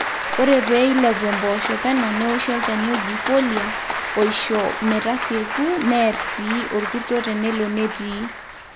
ore pee eilepu impoosho peno neoshi olchani oji folia oisho metasieku neer sii orkurto tenelo netii